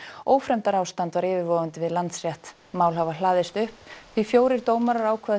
ófremdarástand var yfirvofandi við Landsrétt mál hafa hlaðist upp því fjórir dómarar ákváðu